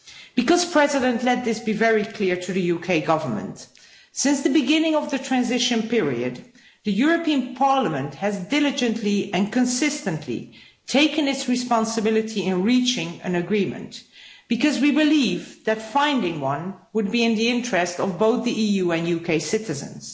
Because, President, let this be very clear to the UK Government since the beginning of the transition period, the European Parliament has diligently and consistently taken its responsibility in reaching an agreement because we believe that finding one would be in the interests of both the EU and UK citizens.